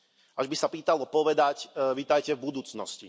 Až by sa pýtalo povedať Vitajte v budúcnosti.